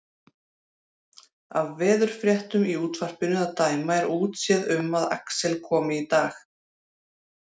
Af veðurfréttunum í útvarpinu að dæma er útséð um að Axel komi í dag.